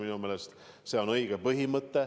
Minu meelest see on õige põhimõte.